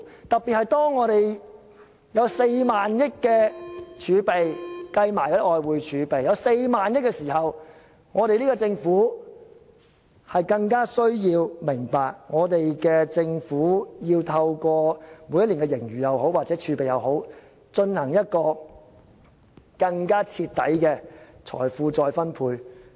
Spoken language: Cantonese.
當我們連同外匯儲備有4萬億元時，政府更需要明白，政府要透過每年的盈餘或儲備進行更徹底的財富再分配。